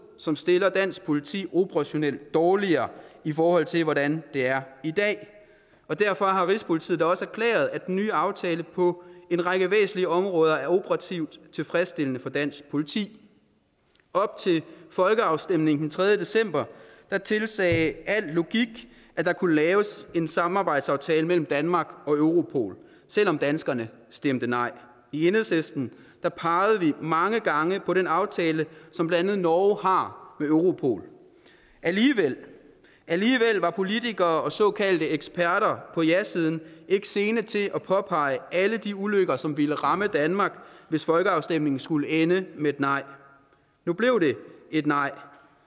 som stiller dansk politi operationelt dårligere i forhold til hvordan det er i dag og derfor har rigspolitiet da også erklæret at den nye aftale på en række væsentlige områder er operativt tilfredsstillende for dansk politi op til folkeafstemningen den tredje december tilsagde al logik at der kunne laves en samarbejdsaftale mellem danmark og europol selv om danskerne stemte nej i enhedslisten pegede vi mange gange på den aftale som blandt andet norge har med europol alligevel var politikere og såkaldte eksperter på jasiden ikke sene til at påpege alle de ulykker som ville ramme danmark hvis folkeafstemningen skulle ende med et nej nu blev det et nej